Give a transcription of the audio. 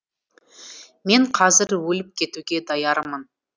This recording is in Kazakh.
мен қазір өліп кетуге даярмын